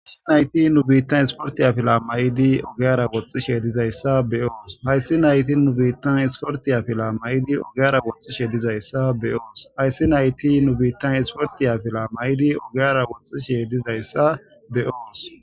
nayti nu biittan isportiya fila mayidi ogeara woxxi sheedizayssa be7oos hayssi nayti nu biittan isportiya fila may7idi ogeara woxxi she dizayssa be7yoos hayssi nayti nu biittan isfortiya fila mayidi ogiara woxxi sheeydizayssa be7oos